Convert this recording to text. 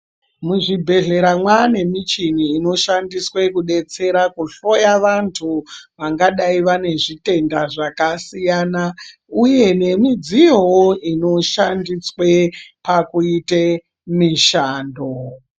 Muzvibhehlera mwane michini inoshandiswe kudetsera kuhloya vanthu vangadai vane zvitenda zvakasiyana uye nemidziyowo inoshandiswe pakuite mishando.